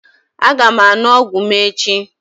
Aga m aṅụ ọgwụ m echi.